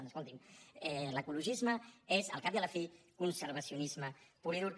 doncs escolti’m l’ecologisme és al cap i a la fi conservacionisme pur i dur